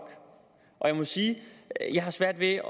jeg må sige at jeg har svært ved